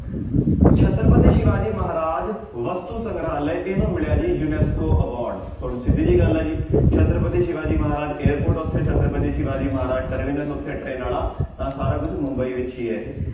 Chhatrapati Shivaji Maharaj ਵਸਤੂ ਸੰਗਰਾਲਹ ਇਹਨੂੰ ਮਿਲਿਆ ਜੀ ਯੁਨੈਸਕੋ award ਹੁਣ ਸਿੱਧੀ ਜਿਹੀ ਗੱਲ ਹੈ ਜੀ ਛਤਰਪਤੀ ਸਿਵਾ ਜੀ ਮਹਾਰਾਜ airport ਉੱਥੇ ਛਤਰਪਤੀ ਸਿਵਾ ਜੀ ਮਹਾਰਾਜ ਉੱਥੇ ਟਰੇਨ ਵਾਲਾ ਤਾਂ ਸਾਰਾ ਕੁਛ ਮੁੰਬਈ ਵਿੱਚ ਹੀ ਹੈ ਇਹ।